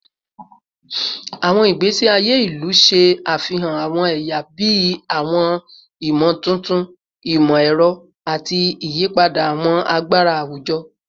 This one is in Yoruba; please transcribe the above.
Awọn igbesi aye ilu ṣe afihan awọn ẹya bii awọn imotuntun imọ-ẹrọ ati iyipada awọn agbara awujọ